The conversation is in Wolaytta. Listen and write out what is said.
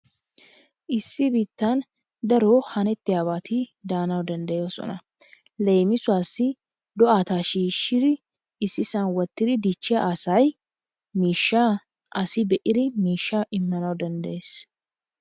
Issi biittaan daro hanetiyabati daanawu danddayoosona. Leemissuwaassi do'ata shiishidi ississan wottidi dichchiya asay miishshaa asi be'iri ha miishshaa immanawu danddayees.